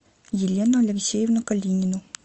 елену алексеевну калинину